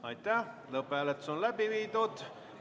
Hääletustulemused Lõpphääletus on läbi viidud.